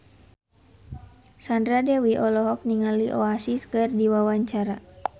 Sandra Dewi olohok ningali Oasis keur diwawancara